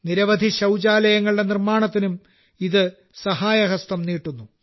നിരവധി ശൌചാലയങ്ങളുടെ നിർമാണത്തിനും ഇത് സഹായഹസ്തം നീട്ടുന്നു